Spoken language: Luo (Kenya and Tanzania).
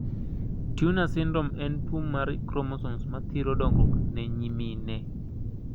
Turner syndrome en tuo mar kromosomes mathiro dongruok ne nyimine.